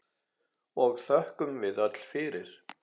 og þökkum við öll fyrir.